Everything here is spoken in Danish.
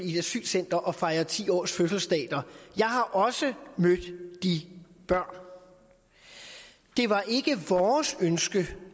i et asylcenter og fejre ti årsfødselsdag der jeg har også mødt de børn det var ikke vores ønske